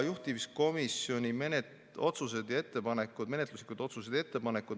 Juhtivkomisjoni menetluslikud otsused ja ettepanekud.